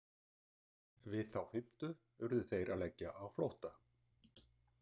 Við þá fimmtu urðu þeir að leggja á flótta.